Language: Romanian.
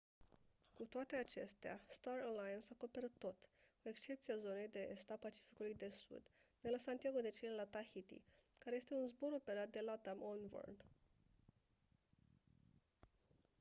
cu toate acestea star alliance acoperă tot cu excepția zonei de est a pacificului de sud de la santiago de chile la tahiti care este un zbor operat de latam oneworld